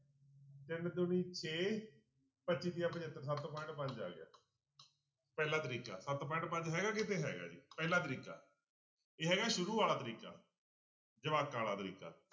ਤਿੰਨ ਦੂਣੀ ਛੇ ਪੱਚੀ ਤੀਆ ਪਜੱਤਰ ਸੱਤ point ਪੰਜ ਆ ਗਿਆ ਪਹਿਲਾ ਤਰੀਕਾ ਸੱਤ point ਪੰਜ ਹੈਗਾ ਕਿਤੇ ਹੈਗਾ ਜੀ, ਪਹਿਲਾ ਤਰੀਕਾ ਇਹ ਹੈਗਾ ਸ਼ੁਰੂ ਵਾਲਾ ਤਰੀਕਾ ਜਵਾਕਾਂ ਵਾਲਾ ਤਰੀਕਾ।